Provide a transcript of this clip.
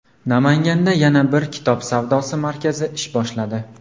Namanganda yana bir kitob savdosi markazi ish boshladi.